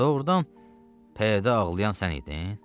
Doğrudan pəyədə ağlayan sən idin?